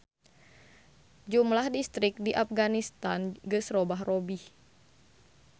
Jumlah distrik di Apganistan geus robah-robih.